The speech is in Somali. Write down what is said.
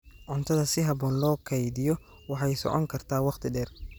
Cuntada si habboon loo kaydiyo waxay socon kartaa waqti dheer.